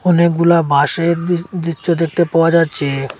অনেকগুলা বাঁশের দৃ দৃচশ্য দেখতে পাওয়া যাচ্ছে।